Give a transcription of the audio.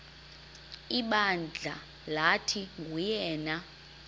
ibandla lathi nguyena